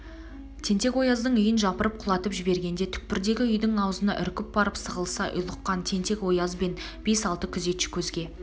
тентек-ояздың үйін жапырып құлатып жібергенде түкпірдегі үйдің аузына үркіп барып сығылыса ұйлыққан тентек-ояз бен бес-алты күзетші көзге